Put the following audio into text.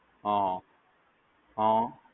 અ અ